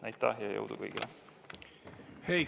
Aitäh, ja jõudu kõigile!